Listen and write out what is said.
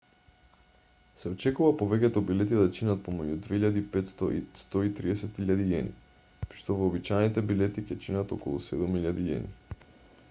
се очекува повеќето билети да чинат помеѓу ¥2.500 и ¥130.000 при што вообичаените билети ќе чинат околу ¥7.000